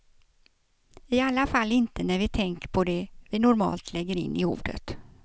I alla fall inte när vi tänker på det vi normalt lägger in i ordet.